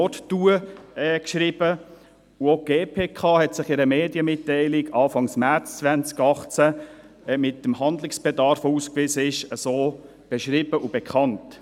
Auch die GPK hat in einer Medienmitteilung Anfang März 2018 den ausgewiesenen Handlungsbedarf beschrieben und sich dazu bekannt.